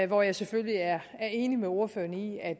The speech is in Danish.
hvor jeg selvfølgelig er enig med ordførerne i at